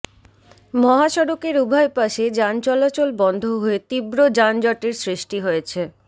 মহাসড়কের উভয় পাশে যান চলাচল বন্ধ হয়ে তীব্র যানজটের সৃষ্টি হয়েছে